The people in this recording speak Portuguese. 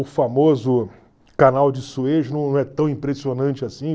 O famoso canal de Suez não é tão impressionante assim.